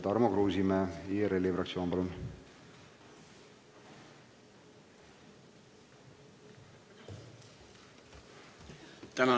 Tarmo Kruusimäe, IRL-i fraktsioon, palun!